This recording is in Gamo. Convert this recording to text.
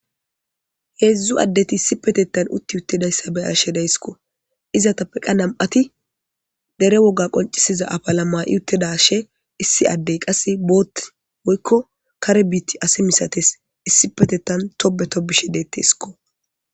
Heedzdzu addeti issi petettan utti uttidayssa be ashe daysikko izatappeqqa nam'ati dere woga qoncisiza apala ma7iuttedashe issi addey qasse boott woykko kare biitti ase misates issi petetan tobe tobishe deettesikko